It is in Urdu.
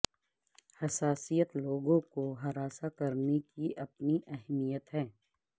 حساسیت لوگوں کو ہراساں کرنے کی اپنی اہمیت ہے